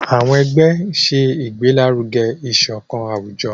àwọn ẹgbẹ ń ṣe igbelaruge isokan awujọ.